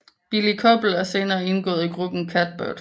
Billie Koppel er senere indgået i gruppen Catbird